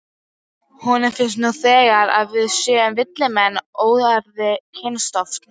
Honum finnst nú þegar að við séum villimenn, óæðri kynstofn.